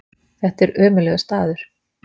Þetta er ömurlegur staður.